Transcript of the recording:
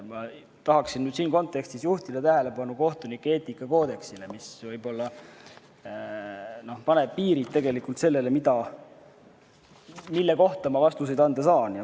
Ma tahaksin siinses kontekstis juhtida tähelepanu kohtunike eetikakoodeksile, mis tegelikult paneb piirid sellele, mille kohta ma vastuseid anda saan.